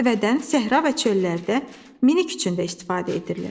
Dəvədən səhra və çöllərdə minik üçün də istifadə edirlər.